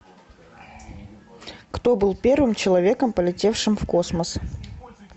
кто был первым человеком полетевшим в космос